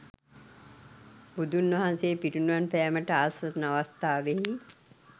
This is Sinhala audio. බුදුන් වහන්සේ පිරිනිවන් පෑමට ආසන්න අවස්ථාවෙහි